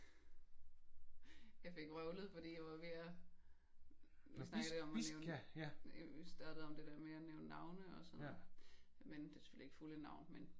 Jeg fik vrøvlet fordi jeg var ved at vi snakkede om det der med at vi snakkede om det der med at nævne navne og sådan noget men det er selvfølgelig ikke fulde navne men